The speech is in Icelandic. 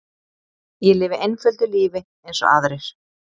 Ég lifi einföldu lífi eins og aðrir.